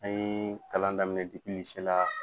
An ye kalan daminɛ dipi lise la